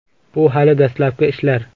Bu hali dastlabki ishlar.